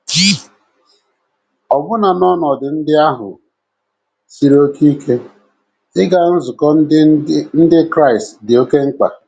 Ọbụna n’ọnọdụ ndị ahụ siri oké ike, ịga nzukọ Ndị Ndị Kraịst dị oké mkpa!